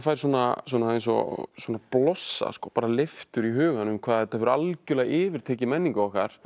eins og blossa bara leiftur í hugann hvað þetta hefur algjörlega yfirtekið menningu okkar